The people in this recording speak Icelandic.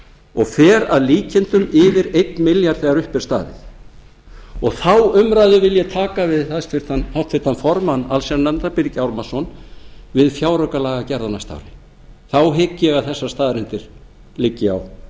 og fer að líkindum yfir einn milljarð þegar upp er staðið og þá umræðu vil ég taka við háttvirtan formann allsherjarnefndar birgi ármannsson við fjáraukalagagerð á næsta ári þá hygg ég að þessar staðreyndir liggi á